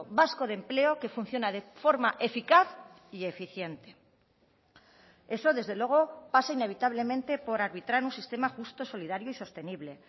vasco de empleo que funciona de forma eficaz y eficiente eso desde luego pasa inevitablemente por arbitrar un sistema justo solidario y sostenible